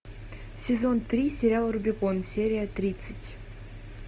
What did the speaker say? сезон три сериал рубикон серия тридцать